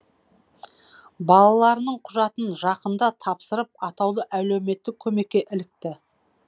балаларының құжатын жақында тапсырып атаулы әлеуметтік көмекке ілікті